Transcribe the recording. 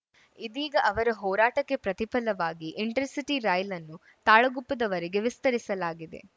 ಇದೀಗ ಅವರ ಹೋರಾಟಕ್ಕೆ ಪ್ರತಿಫಲವಾಗಿ ಇಂಟರ್‌ಸಿಟಿ ರೈಲನ್ನು ತಾಳಗುಪ್ಪದವರೆಗೆ ವಿಸ್ತರಿಸಲಾಗಿದೆ